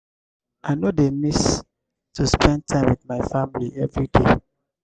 i no dey miss to spend time wit my family everyday.